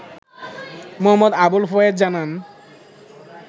মো. আবুল ফয়েজ জানান